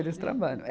Eles trabalham. eh